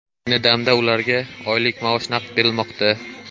Ayni damda ularga oylik maosh naqd berilmoqda.